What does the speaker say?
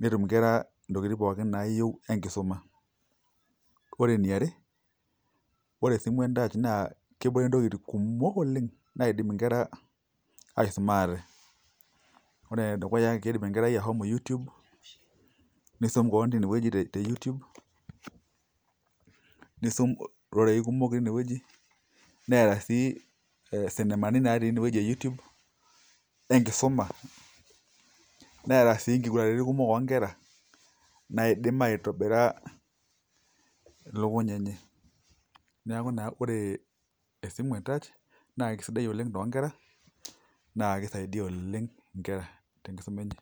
netum nkera ntokitin pookin nayieu enkisuma, ore eniare ore esimu entouch kebore ntokitin kumok oleng naidim nkera aisuma aate, ore enedukuya kindim nkera ashomo YouTube nisum keon tinewueji e YouTube nisum rorei kumok tinewueji Neeta sii sindemani tinewueji w youtubu na enkisuma, neeta sii nkugurani kumok onkera naidim aitobira lukuny enye, neaku na ore esimu entouch na kesida oleng to nkera na kisaidia oleng nkera tenkisuma enye.